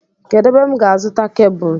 Kedụ ebe m ga-azuta kebụl?